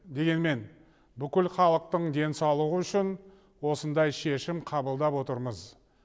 дегенмен бүкіл халықтың денсаулығы үшін осындай шешім қабылдап отырмыз